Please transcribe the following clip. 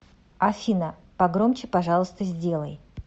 афина погромче пожалуйста сделай